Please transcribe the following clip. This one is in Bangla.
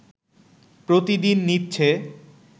প্রতিদিন নিচ্ছে